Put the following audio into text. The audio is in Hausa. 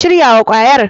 Ki shirya wa kwayar.